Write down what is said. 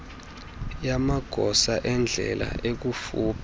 yamagosa endlela ekufuphi